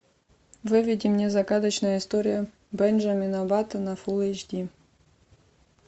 выведи мне загадочная история бенджамина баттона фулл эйч ди